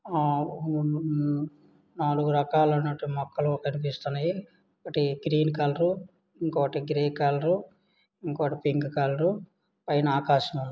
ఆ ఊ ఆ నాలుగు రకాల అయినటువంటి మొక్కలు కనిపిస్తున్నాయి ఒకటి గ్రీన్ కలర్ ఇంకోటి గ్రే కలరు ఇంకోటి పింక్ కలరు పైన ఆకాశం--